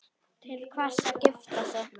Til hvers að gifta sig?